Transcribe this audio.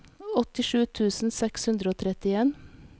åttisju tusen seks hundre og trettien